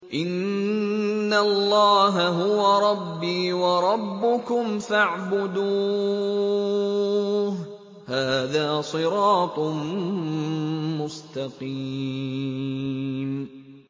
إِنَّ اللَّهَ هُوَ رَبِّي وَرَبُّكُمْ فَاعْبُدُوهُ ۚ هَٰذَا صِرَاطٌ مُّسْتَقِيمٌ